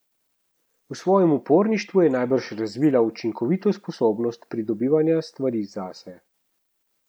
V svojem uporništvu je najbrž razvila učinkovito sposobnost pridobivanja stvari zase.